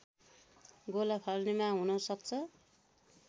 गोला फाल्नेमा हुन सक्छ